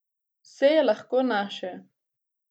Vse je lahko naše!